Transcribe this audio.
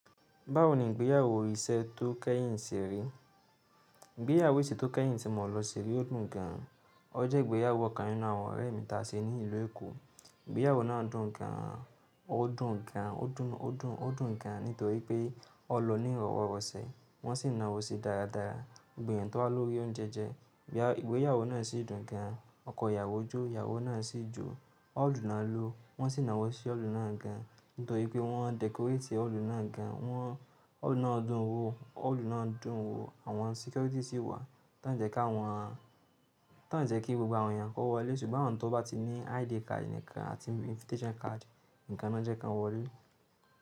Báwo ni ìgbéyàwó ìṣe tó kẹ́yìn ṣe rí? Ìgbéyàwó ìṣe tó kẹ́yìn tí mo lọ ṣe rí o dùn gan. O jẹ́ ìgbéyàwó ọkan nínú àwọn ọ̀rẹ́ mi tàṣe ní ìlú Èkó. Ìgbéyàwó náà dùn gan, o dùn gan, o dùn, o dùn, o dùn gan nítorí pé ọlọ ní ìrọ̀wọ́ rọsẹ, wọn sì nàwó sí dáradára. Gbogbo eyan tó wá lórí oúnjẹ jẹ, ìgbéyàwó náà sì dùn gan. Oko ìyàwó jó, ìyàwó náà sì jó. Òòlù náà lo, wọ́n sì nàá wọ sí òòlù náà gan nítorí pé wọ́n decorate òòlù náà gan. Wọ́n, òòlù náà dùn ún wò, òòlù náà dùn ún wò. Àwọn security sì wà, tí wọ́n jẹ́ kí àwọn, tí wọ́n jẹ́ kí gbogbo àwọn èèyàn kó wọlé. Ṣùgbọ́n awọn tó bá ti ní ID card nìkan àti invitation card nìkan ni wọ́n jẹ́ kí wọn wọlé.